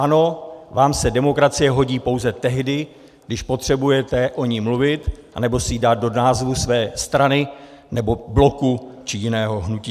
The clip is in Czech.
Ano, vám se demokracie hodí pouze tehdy, když potřebujete o ní mluvit anebo si ji dát do názvu své strany nebo bloku či jiného hnutí.